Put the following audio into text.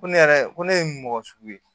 Ko ne yɛrɛ ko ne ye mɔgɔ sugu ye